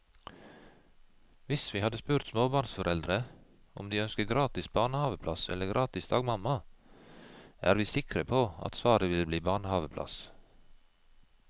Hvis vi hadde spurt småbarnsforeldre om de ønsker gratis barnehaveplass eller gratis dagmamma, er vi sikre på at svaret ville bli barnehaveplass.